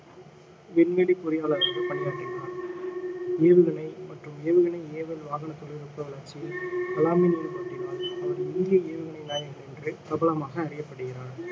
விண்வெளி பொறியாளராக பணியாற்றினார் ஏவுகணை மற்றும் ஏவுகணை ஏவல் வாகன தொழில்நுட்ப வளர்ச்சியில் கலாமின் ஈடுபாட்டினால் அவர் இந்திய ஏவுகணை நாயகன் என்று பிரபலமாக அறியப்படுகிறார்